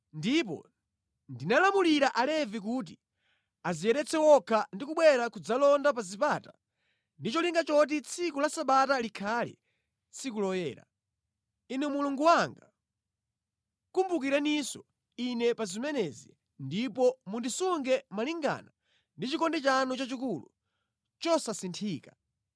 Ndipo ndinalamulira Alevi kuti adziyeretse okha ndi kubwera kudzalonda pa zipata ndi cholinga choti tsiku la Sabata likhale tsiku loyera. Inu Mulungu wanga, kumbukireninso ine pa zimenezi ndipo mundisunge malingana ndi chikondi chanu chachikulu chosasinthika.